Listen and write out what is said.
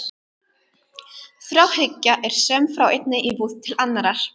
Þráhyggja er söm frá einni íbúð til annarrar.